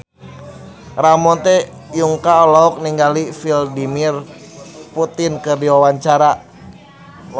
Ramon T. Yungka olohok ningali Vladimir Putin keur diwawancara